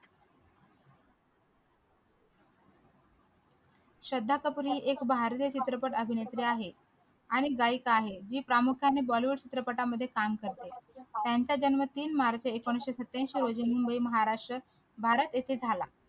श्रद्धा कपूर ही एक भारतीय चित्रपट अभिनेत्री आहे आणि गायिका आहे ही प्रामुख्याने bollywood चित्रपटांमध्ये काम करते त्यांचा जन्म तीन मार्च एकोणीशे सत्त्याऐंशी रोजी मुंबई महाराष्ट्र भारत येथे झाला